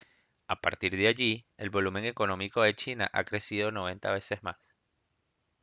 a partir de allí el volumen económico de china ha crecido 90 veces más